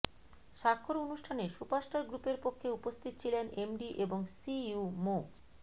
স্বাক্ষর অনুষ্ঠানে সুপারস্টার গ্রুপের পক্ষে উপস্থিত ছিলেন এমডি এবং সিইও মো